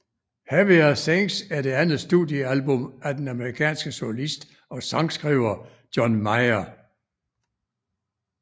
Heavier Things er det andet studiealbum af den amerikanske solist og sangskriver John Mayer